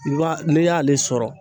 I b'a n'i y'ale sɔrɔ